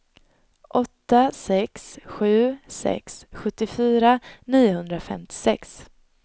åtta sex sju sex sjuttiofyra niohundrafemtiosex